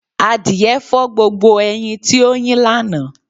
Àdìẹ́ fọ̀ gbogbo ẹyin tí o yín lána.